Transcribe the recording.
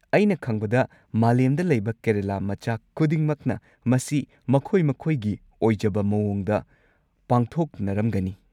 ꯑꯩꯅ ꯈꯪꯕꯗ ꯃꯥꯂꯦꯝꯗ ꯂꯩꯕ ꯀꯦꯔꯂꯥ ꯃꯆꯥ ꯈꯨꯗꯤꯡꯃꯛꯅ ꯃꯁꯤ ꯃꯈꯣꯏ ꯃꯈꯣꯏꯒꯤ ꯑꯣꯏꯖꯕ ꯃꯑꯣꯡꯗ ꯄꯥꯡꯊꯣꯛꯅꯔꯝꯒꯅꯤ꯫